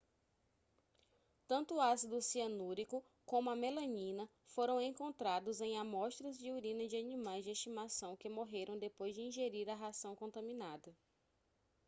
tanto o ácido cianúrico como a melanina foram encontrados em amostras de urina de animais de estimação que morreram depois de ingerir a ração contaminada